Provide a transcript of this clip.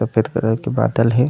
सफ़ेद कलर के बादल हे।